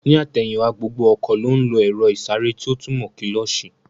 Ní àtẹ̀yìn wá, gbogbo ọkọ̀ ló ń lo èro ìsáré tí ó túmò kílósī